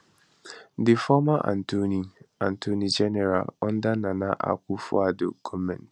di former attorney attorney general under nana akuffoaddo goment